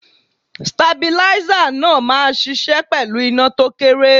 Stabilízà náà máa ṣiṣẹ́ pẹ̀lú iná tó kéré.